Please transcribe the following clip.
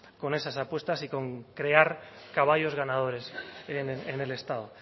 con esas apuestas y con crear caballos ganadores en el estado